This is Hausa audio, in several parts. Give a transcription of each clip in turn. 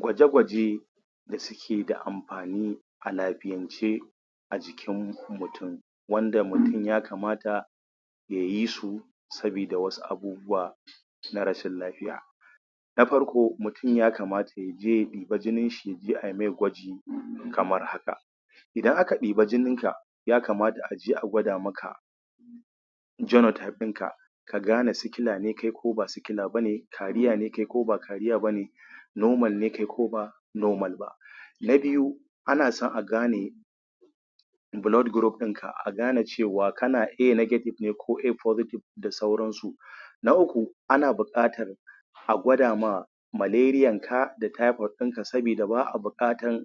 Gwaje gwaje da suke da amfani a lafiyance a jikin mutum wanda mutum ya kamata ya yi su saboda wasu abubuwa na rashin lafiya na farko mutum ya kamata aya je a ɗibi jininshi ya je aimai gwaji kamar haka, idan aka ɗebi jininka ya kamata a je a gwada maka genotype ɗinka ka gane sikila ne kai ko ba sikila be ne, normal ne kai ko ba normal ba ne carrier ne kai ko ba carrier ba. Na biyu ana son a gane blood group ɗin ka A negative cewa kana A negative ne kai ko A positive da sauranu. na uku ana son a gwada ma malarianka da typoid saboda ba a buƙatan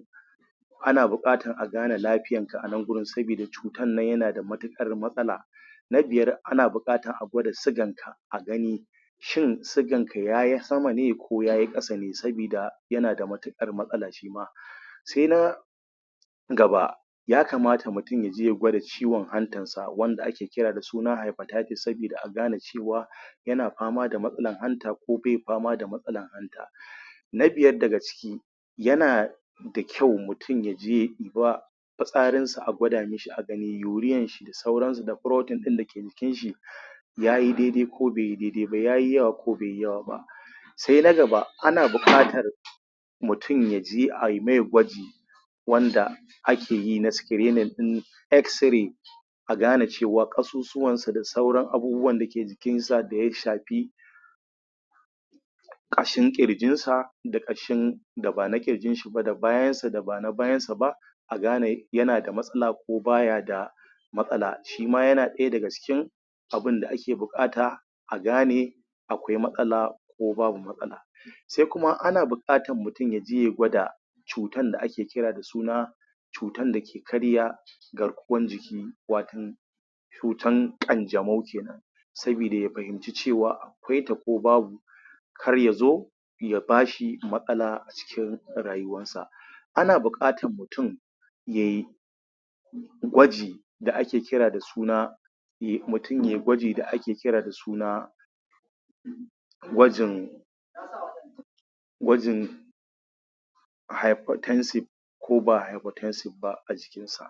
Ana buƙatar a gane lafiyan nanka a nan wajen saboda cutan nan yana da matuƙar matsala na biyar ana buƙatan a gwada siganka a gani shin siganka ya yi sama ne ko ya yi ƙasa saboda yana da matuƙar matsala shima. sai na gaba ya kamata mutum ya gwada ciwon hantansa wanda ake cewa hypertitis sabida a gane cewa yana fama da matsalar hanta ko bai fama da matsalan hanta. Na biyar yana da kyau mutum ya je ya ɗi ba fitsarin sa a gwada shi a gani urean da ke cikin shi da proton da ke jikin shi ya yi dai dai ko bai yi dai dai ba, ya yi yawa ko bai yi yawa ba. sai ana buƙatan, mutum ya je ai mai gwaji wanda ake yi na screening ɗin Xray a gane cewa ƙasusuwansa da sauran abubuwan jikinsa da ya safi ƙashin ƙirjinsa da ƙashin da ba na ƙirjinsa ba ba na bayansa da wanda ba na bayansa ba a gane yana da matsala ko baya da matsala shi ma yana ɗaya daga cikin abinda ake buƙata a gane yana da matsala ko baya da matsala sai kuma ana buƙatan mutum ya je ya gwada cutan da ake kira da suna cutan da ke karya garkuwan jiki watan cutan ƙanjamau ke nan. Saboda ya fahimci cewa akwaita ko babu kar ya zo ya ba shi matsa a cikin rayuwansa. Ana buƙatan mutum yai gwaji da ake kira da suna mutum yai gwaji da ake kira da suna gwajin gwajin hypotensive ko ba hypotensive ba a jikinsa.